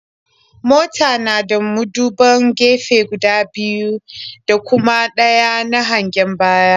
Mota na da muduban gefe guda biyu da kuma ɗaya na hangen baya.